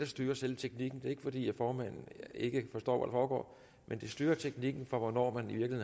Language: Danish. styrer selve teknikken det er ikke fordi formanden ikke forstår hvad foregår men det styrer teknikken for hvornår man